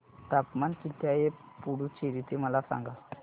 तापमान किती आहे पुडुचेरी चे मला सांगा